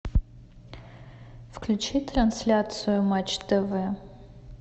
включи трансляцию матч тв